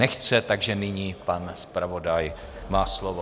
Nechce, takže nyní pan zpravodaj má slovo.